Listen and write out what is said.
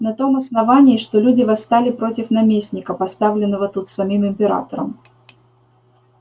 на том основании что люди восстали против наместника поставленного тут самим императором